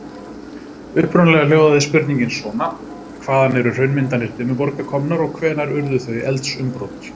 Upprunalega hljóðaði spurningin svona: Hvaðan eru hraunmyndanir Dimmuborga komnar og hvenær urðu þau eldsumbrot?